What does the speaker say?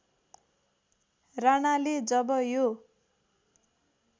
राणाले जब यो